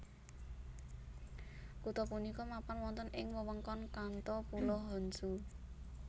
Kutha punika mapan wonten ing wewengkon Kanto Pulo Honshu